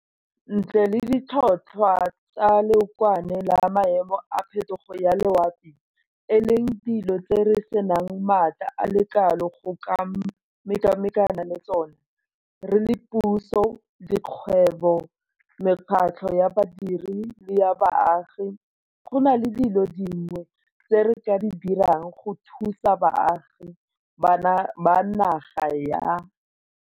Ntle le ditlhotlhwa tsa leokwane le maemo a phetogo ya loapi, e leng dilo tse re senang maatla a le kalo go ka mekamekana le tsona, re le puso, dikgwebo, mekgatlho ya badiri le ya baagi gona le dilo dingwe tse re ka di dirang go thusa baagi ba naga ya